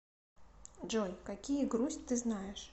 джой какие грусть ты знаешь